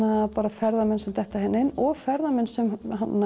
ferðamenn sem detta inn og ferðamenn sem